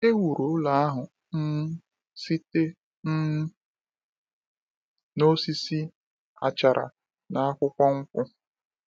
E wuru ụlọ ahụ um site um n’osisi, achara, na akwụkwọ nkwụ.